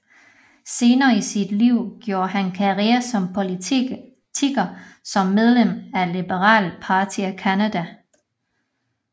Senere i sit liv gjorde han karriere som politiker som medlem af Liberal Party of Canada